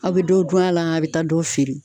A bɛ dɔ dun a la a bɛ taa dɔ feere.